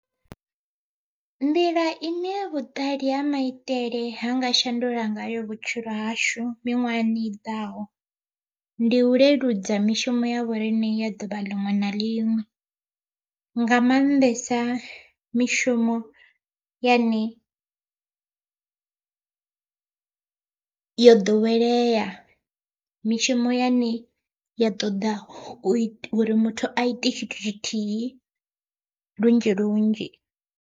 Nḓila ine vhuṱali ha maitele ha nga shandula ngayo vhutshilo hashu miṅwahani i ḓaho, ndi u leludza mishumo ya vhoriṋe ya ḓuvha ḽiṅwe na ḽiṅwe. Nga mannḓesa mishumo yane yo ḓowelea mishumo yane ya ṱoḓa uri muthu aite tshithu tshithihi lunzhi lunzhi.